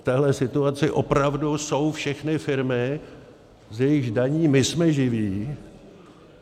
V téhle situaci opravdu jsou všechny firmy, z jejichž daní my jsme živi.